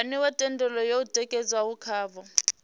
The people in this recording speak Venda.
waniwa thendelo yo tikedzwaho khavho